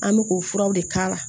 An bɛ k'o furaw de k'a la